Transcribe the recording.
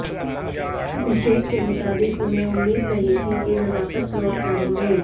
अभिषेक के मुताबिक उन्हें उम्मीद नहीं थी कि वे वापस लौट पाएंगे